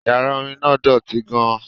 Yàrá orin náà dọ̀tí gan-an